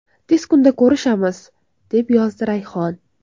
Tez kunda ko‘rishamiz”, deb yozdi Rayhon.